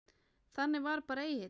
Þannig var bara Egill.